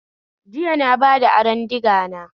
Jiya na bada aron digana